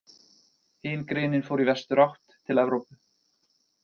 Hin greinin fór í vesturátt, til Evrópu.